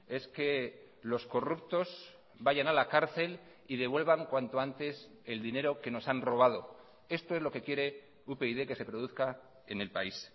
es que los corruptos vayan a la cárcel y devuelvan cuanto antes el dinero que nos han robado esto es lo que quiere upyd que se produzca en el país